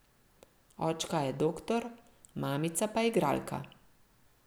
Očka je doktor, mamica pa igralka.